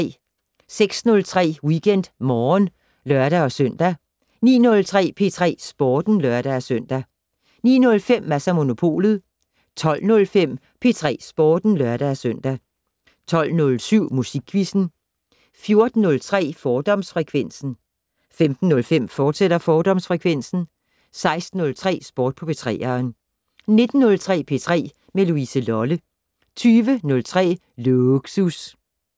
06:03: WeekendMorgen (lør-søn) 09:03: P3 Sporten (lør-søn) 09:05: Mads & Monopolet 12:05: P3 Sporten (lør-søn) 12:07: Musikquizzen 14:03: Fordomsfrekvensen 15:05: Fordomsfrekvensen, fortsat 16:03: Sport på 3'eren 19:03: P3 med Louise Lolle 20:03: Lågsus